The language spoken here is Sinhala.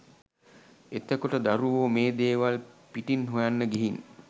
එතකොට දරුවෝ මේ දේවල් පිටින් හොයන්න ගිහින්